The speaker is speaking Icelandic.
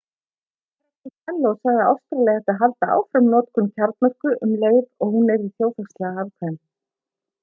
hr costello sagði að ástralía ætti að halda áfram notkun kjarnorku um leið og hún verði þjóðhagslega hagkvæm